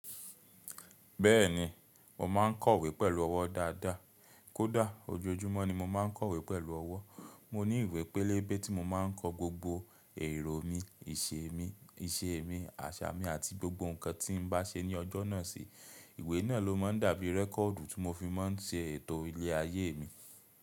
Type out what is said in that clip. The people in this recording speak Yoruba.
Bẹ́ẹ̀ni, mo ma ń kọ̀wé pẹ̀lú ọwọ́ dáadáa. Kódà ojoojúmọ́ ni mo ma ń kọ̀wé pẹ̀lú ọwọ́. Mo ní ìwé pélébé tí mo máa ń kọ gbogbo èrò mi, ìṣe mi, àṣà mi àti gbogbo nǹkan tí n bá ṣe ní ọjọ́ náà sí. Ìwé náà lo máa ń dàbí rẹ́kọ̀ọ́dù tí mo fi máa ń ṣe ètò ilẹ̀ ayé mi.